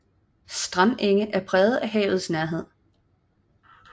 Strandenge er præget af havets nærhed